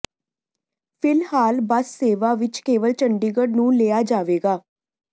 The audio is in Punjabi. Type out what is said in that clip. ਫਿਲਹਾਲ ਬੱਸ ਸੇਵਾ ਵਿਚ ਕੇਵਲ ਚੰਡੀਗੜ੍ਹ ਨੂੰ ਲਿਆ ਜਾਵੇਗਾ